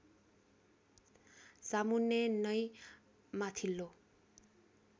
सामुन्ने नै माथिल्लो